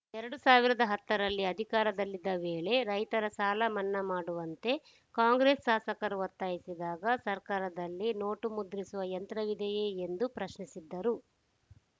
ಎರಡ್ ಸಾವಿರದ ಹತ್ತರಲ್ಲಿ ಅಧಿಕಾರದಲ್ಲಿದ್ದ ವೇಳೆ ರೈತರ ಸಾಲಮನ್ನಾ ಮಾಡುವಂತೆ ಕಾಂಗ್ರೆಸ್‌ ಶಾಸಕರು ಒತ್ತಾಯಿಸಿದಾಗ ಸರ್ಕಾರದಲ್ಲಿ ನೋಟು ಮುದ್ರಿಸುವ ಯಂತ್ರವಿದೆಯೇ ಎಂದು ಪ್ರಶ್ನಿಸಿದ್ದರು